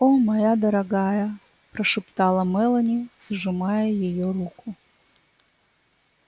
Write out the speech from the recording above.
о моя дорогая прошептала мелани сжимая её руку